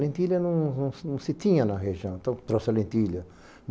Lentilha não não não se tinha na região, então trouxe a lentilha.